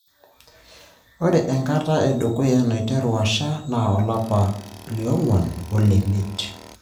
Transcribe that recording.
Ore enkata edukuya naiteru asha naa olapa lioong'uan olemiet.